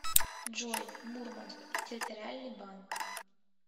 джой мурманск территориальный банк